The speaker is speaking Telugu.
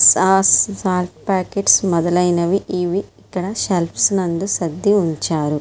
సాస్ సాల్ట్ పాకెట్స్ మొదలైనవి ఇవి ఇక్కడ సెల్ఫ్స నందు సర్ది ఉంచారు.